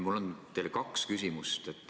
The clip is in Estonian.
Mul on teile kaks küsimust.